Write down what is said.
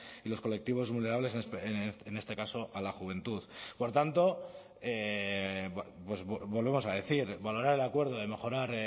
y los colectivos vulnerables en este caso a la juventud por tanto volvemos a decir valorar el acuerdo de mejorar